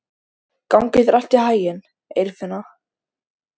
Gangi þér allt í haginn, Eirfinna.